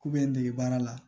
K'u bɛ n dege baara la